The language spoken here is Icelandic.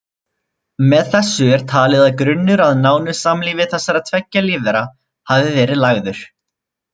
Með þessu er talið að grunnur að nánu samlífi þessara tveggja lífvera hafi verið lagður.